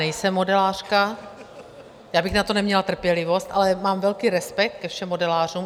Nejsem modelářka, já bych na to neměla trpělivost, ale mám velký respekt ke všem modelářům.